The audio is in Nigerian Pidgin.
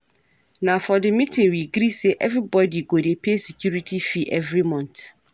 Na for di meeting we gree sey everybodi go dey pay security fee every month.